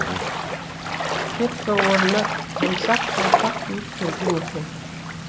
кепка орнына жұмсақ қалпақ киіп келген екен